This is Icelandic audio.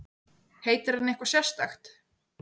Heitir hann eitthvað sérstakt?